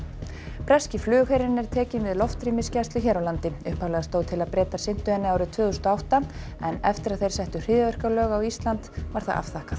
breski flugherinn er tekinn við loftrýmisgæslu hér á landi upphaflega stóð til að Bretar sinntu henni árið tvö þúsund og átta en eftir að þeir settu hryðjuverkalög á Ísland var það afþakkað